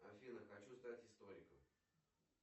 афина хочу стать историком